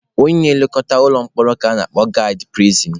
Onye na-elekọta ụlọ mkpọrọ ka a na-akpọ gaadị pirisin.